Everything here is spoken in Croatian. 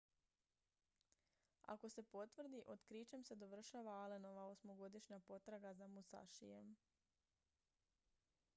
ako se potvrdi otkrićem se dovršava allenova osmogodišnja potraga za musashijem